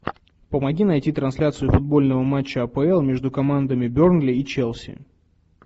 помоги найти трансляцию футбольного матча апл между командами бернли и челси